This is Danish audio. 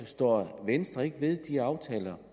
står venstre ikke ved de aftaler